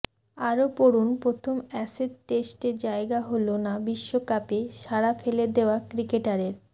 আরও পড়ুন প্রথম অ্যাসেজ টেস্টে জায়গা হল না বিশ্বকাপে সাড়া ফেলে দেওয়া ক্রিকেটারের